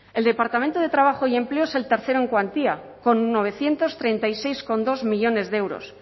el departamento de trabajo y empleo es el tercero en cuantía con novecientos treinta y seis coma dos millónes de euros